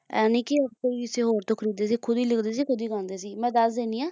ਐਂ ਨਹੀਂ ਕਿ ਕਿਸੇ ਹੋਰ ਤੋਂ ਲਿਖਵਾਉਂਦੇ ਸੀ ਖੁਦ ਹੀ ਲਿਖਦੇ ਸੀ ਖੁਦ ਹੀ ਗਾਉਂਦੇ ਸੀ ਮੈਂ ਦੱਸ ਦਿੰਨੀ ਹਾਂ